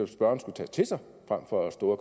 spørgeren skulle tage til sig frem for at stå